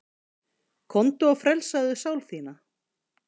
Komdu og frelsaðu sál þína.